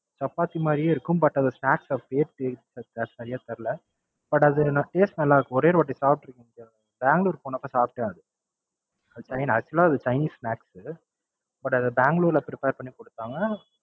சப்பாத்தி மாதிரியே இருக்கும் But அந்த Snacks அப்படியே சரியா தெரியல. But அதனோட Taste நல்லாருக்கும் ஒரே ஒருவாட்டி சாப்பிட்டுருக்கேன். பெங்களூரு போனப்ப சாப்டேன் அது. அது Actual ஆ Chinese snacks உ. But அதை பெங்களூருல Prepare பண்ணிக்கொடுத்தாங்க.